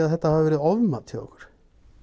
að þetta hafi verið ofmat hjá ykkur